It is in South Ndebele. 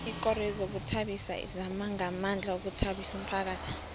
ikoro yezokuzithabisa izama ngamandla ukuthabisa umphakhathi